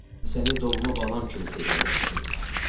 Səni doğma balam kimi sevirəm.